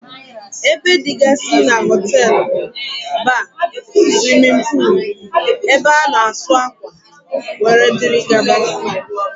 Ébé dịgasị n'hotelu bụ: Baar, swimin poolu, ebe ana asụ akwa wdg.